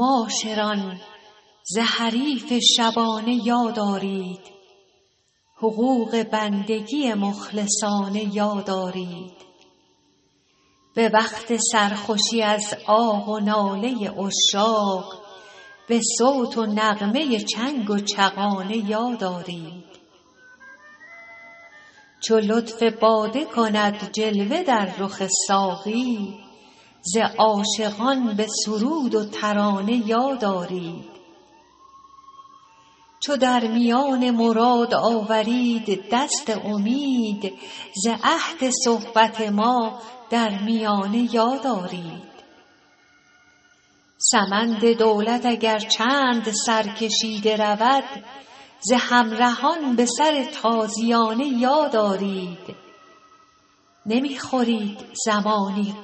معاشران ز حریف شبانه یاد آرید حقوق بندگی مخلصانه یاد آرید به وقت سرخوشی از آه و ناله عشاق به صوت و نغمه چنگ و چغانه یاد آرید چو لطف باده کند جلوه در رخ ساقی ز عاشقان به سرود و ترانه یاد آرید چو در میان مراد آورید دست امید ز عهد صحبت ما در میانه یاد آرید سمند دولت اگر چند سرکشیده رود ز همرهان به سر تازیانه یاد آرید نمی خورید زمانی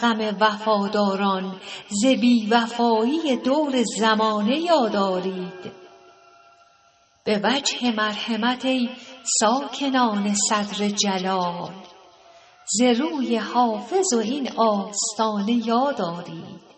غم وفاداران ز بی وفایی دور زمانه یاد آرید به وجه مرحمت ای ساکنان صدر جلال ز روی حافظ و این آستانه یاد آرید